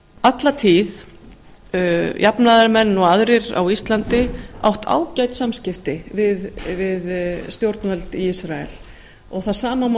alla tíð jafnaðarmenn og aðrir á íslandi átt ágæt samskipti við stjórnvöld í ísrael og það sama má